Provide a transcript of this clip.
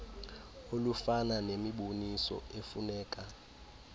olufana nemiboniso efuneka